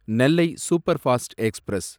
Nellai superfast express